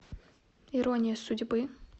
ирония судьбы